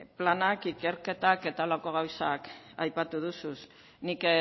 planak ikerketak eta horrelako gauzak aipatu dozuz nik